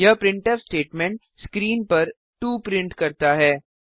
यह printf statement screen पर 2 print करता है